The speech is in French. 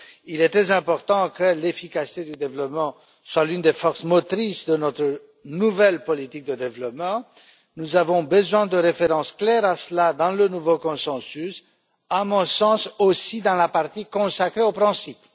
Il est très important que l'efficacité du développement soit l'une des forces motrices de notre nouvelle politique de développement. Nous avons besoin de références claires à cela dans le nouveau consensus, y compris, à mon sens, dans la partie consacrée aux principes.